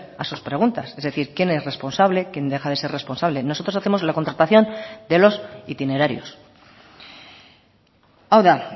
a sus preguntas es decir quién es responsable quién deja de ser responsable nosotros hacemos la contratación de los itinerarios hau da